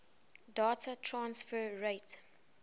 data transfer rate